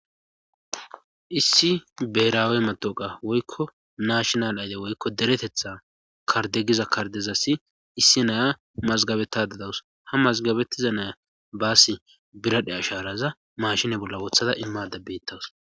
issi beraawe matooqa woykko naashinal ayde woykko deretetha kardegiza kardezassi issi naya mazgabeta dadawus ha mazgabettiza naya baasi biradhe asharaza mashine bolla wothada immada bettawus